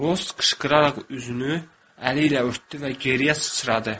Rus qışqıraraq üzünü əli ilə örtdü və geriyə sıçradı.